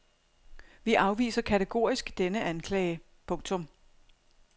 Vi afviser kategorisk denne anklage. punktum